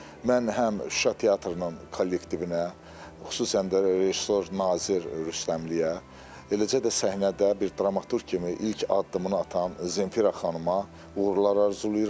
Mən həm Şuşa Teatrının kollektivinə, xüsusən də rejissor Nazir Rüstəmliyə, eləcə də səhnədə bir dramaturq kimi ilk addımını atan Zemfira xanıma uğurlar arzulayıram.